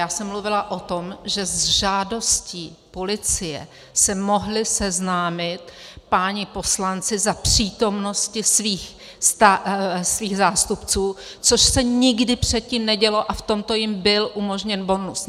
Já jsem mluvila o tom, že s žádostí policie se mohli seznámit páni poslanci za přítomnosti svých zástupců, což se nikdy předtím nedělo, a v tomto jim byl umožněn bonus.